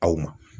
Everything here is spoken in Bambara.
Aw ma